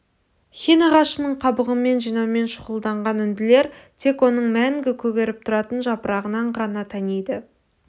хин ағашының қабығын жинаумен шұғылданған үнділер тек оның мәңгі көгеріп тұратын жапырағынан ғана таниды